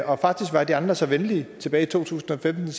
og faktisk var de andre så venlige tilbage i to tusind og femten